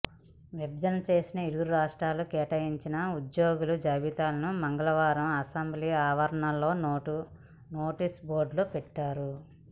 విభజన చేసి ఇరు రాష్ట్రాలకు కేటాయించిన ఉద్యోగుల జాబితాలను మంగళవారం అసెంబ్లీ ఆవరణలోని నోటీసు బోర్డులో పెట్టారు